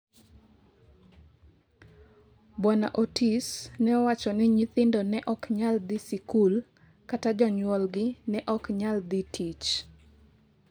Bwana Otis ne owacho ni nyithindo ne ok nyal dhi e sikul, kata jonyuolgi ne ok nyal dhi tich